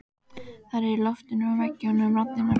Þær eru í loftinu og veggjunum raddirnar.